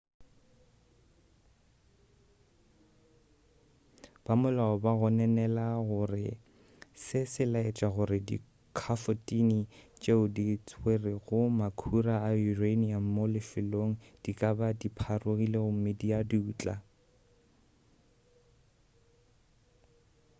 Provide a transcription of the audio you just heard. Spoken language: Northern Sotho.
bamolao ba gononela gore se se laetša gore dikhafotine tšeo di tswerego makhura a uranium mo lefelong di ka ba dipharogile gomme di a dutla